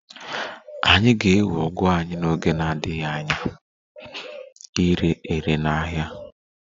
Anyị ga-ewe ugu anyị n'oge na-adịghị anya ire ere n'ahịa